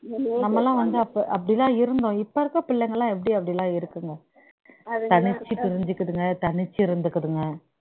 நம்மல்லாம் வந்து அப்போ அப்டி தான் இருந்தோம் இப்ப இருக்க பிள்ளைங்கல்லாம் எப்டி அப்டிலாம் இருக்குங்க தனிச்சு பிரிஞ்சுகுதுங்க தனிச்சு இருந்துகுதுங்க